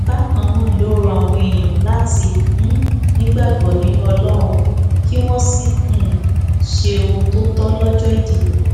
bákan náà ló rọ àwọn èèyàn láti um nígbàgbọ nínú ọlọrun kí wọn sì um ṣe ohun tó tọ lọjọ ìdìbò